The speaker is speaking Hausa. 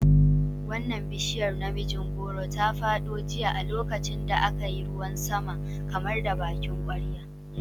Wannan bishiyar namijin goro ta fado jiya a lokacin da aka yi ruwan sama kamar da bakin kwarya.